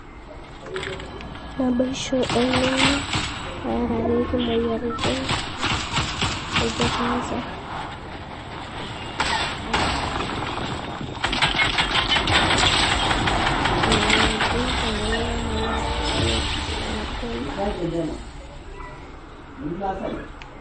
naboisho, olning'o oarareki moyiaritin naijio cancer, moyiaritin pookin olmanyara